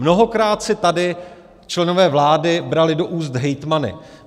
Mnohokrát si tady členové vlády brali do úst hejtmany.